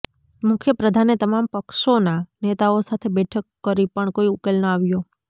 મુખ્ય પ્રધાને તમામ પક્ષોના નેતાઓ સાથે બેઠક કરી પણ કોઈ ઉકેલ ન આવ્યો